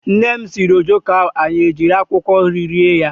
Nnem siiri ojoko ahụ anyị ejiri akwụkwọ nri rie ya.